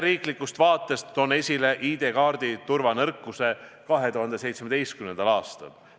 Riigisisesest vaatest toon esile ID-kaardi turvanõrkuse 2017. aastal.